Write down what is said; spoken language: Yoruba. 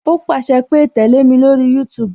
O pàṣẹ pé "tẹle mi lórí YouTube